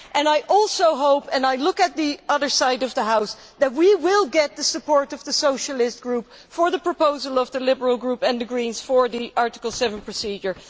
I also hope and here I am looking at the other side of the House that we will get the support of the Socialist Group for the proposal of the Liberal Group and the Greens to use the Article 7 procedure.